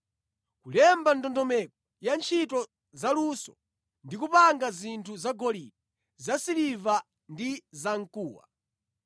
Kulemba ndondomeko ya ntchito zaluso ndi kupanga zinthu zagolide, zasiliva ndi zamkuwa,